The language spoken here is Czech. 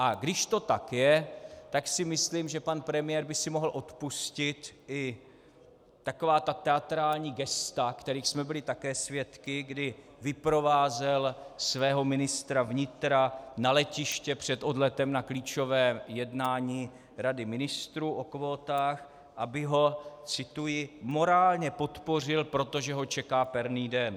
A když to tak je, tak si myslím, že pan premiér by si mohl odpustit i taková ta teatrální gesta, kterých jsme byli také svědky, kdy vyprovázel svého ministra vnitra na letiště před odletem na klíčové jednání rady ministrů o kvótách, aby ho - cituji: morálně podpořil, protože ho čeká perný den.